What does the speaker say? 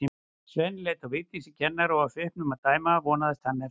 Svenni leit á Vigdísi kennara og af svipnum að dæma vonaðist hann eftir frelsi.